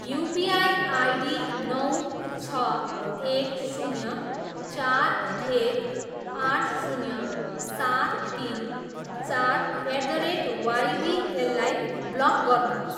UPI ID नौ, छ, एक, शून्य, चार, एक, आठ, शून्य, सात, तिन, चार, एट द रेट वाइबिएललाई ब्लक गर्नुहोस्।